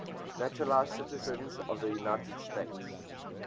naturalized citizens of the united states